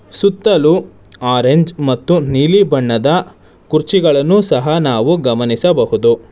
ಸುತ್ತಲು ಆರೆಂಜ್ ಮತ್ತು ನೀಲಿ ಬಣ್ಣದ ಕುರ್ಚಿಗಳನ್ನು ಸಹ ನಾವು ಗಮನಿಸಬಹುದು.